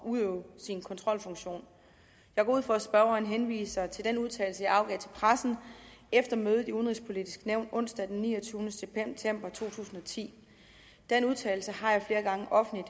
at udøve sin kontrolfunktion jeg går ud fra at spørgeren henviser til den udtalelse jeg afgav til pressen efter mødet i det udenrigspolitiske nævn onsdag den niogtyvende september to tusind og ti den udtalelse har jeg flere gange offentligt